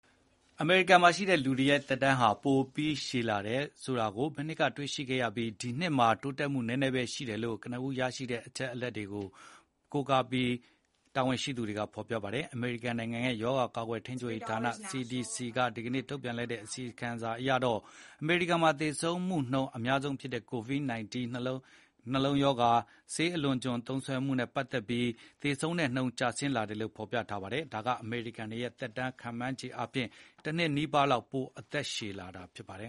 အမေရိကန်မှာရှိတဲ့လူတွေရဲ့ သက်တမ်းဟာ ပိုပြီးရှည်လာတယ်ဆိုတာ မနှစ်ကတွေ့ရှိခဲ့ပြီး ဒီနှစ်မှာ တိုးတက်မှုနည်းနည်းပဲရှိတယ်လို့ ကနဦးရရှိတဲ့ အချက်အလက်တွေက ဖော်ပြနေပါတယ်။ အမေရိကန်နိုင်ငံရဲ့ ရောဂါကာကွယ်ထိန်းချုပ်ဌာန (CDC) က ဒီနေ့ ထုတ်ပြန်လိုက်တဲ့ အစီရင်ခံစာ အရတော့ အမေရိကန်မှာ သေဆုံးမှုနှုန်းအများဆုံးဖြစ်တဲ့ ကိုဗစ် ၁၉ ၊ နှလုံးရောဂါနဲ့ ဆေးအလွန်အကျွံ သုံးစွဲမှုတွေနဲ့ပတ်သက်ပြီး သေဆုံးနှုန်း ကျဆင်းလာတယ်လို့ ဖော်ပြပါတယ်။ ဒါက အမေရိကန်တွေရဲ့ သက်တမ်းဟာ ခန့်မှန်းခြေအားဖြင့် တနှစ်နီးပါးလောက် ပိုအသက်ရှည်လာတာဖြစ်ပါတယ်